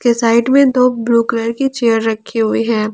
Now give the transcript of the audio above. के साइड मे दो ब्लू कलर की चेयर रखी हुई है।